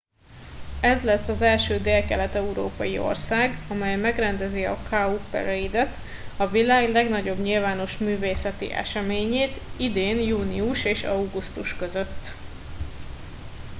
ez lesz az első délkelet európai ország amely megrendezi a cowparade et a világ legnagyobb nyilvános művészeti eseményét idén június és augusztus között